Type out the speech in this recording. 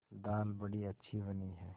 दाल बड़ी अच्छी बनी है